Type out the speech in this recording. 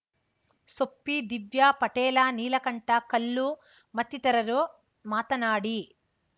ಸೊಪ್ಪಿ ದಿವ್ಯಾ ಪಟೇಲ ನೀಲಕಂಠ ಕಲ್ಲು ಮತ್ತಿತರರು ಮಾತನಾಡಿ